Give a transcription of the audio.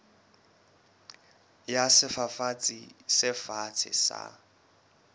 ya sefafatsi se fatshe sa